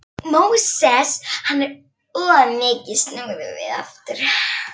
Móses, enn of mikið, snúðu við aftur.